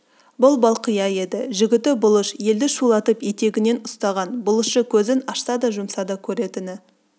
бұл балқия еді жігіті бұлыш елді шулатып етегінен ұстаған бұлышы көзін ашса да жұмса да көретіні